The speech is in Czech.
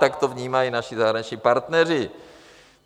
Tak to vnímají naši zahraniční partneři.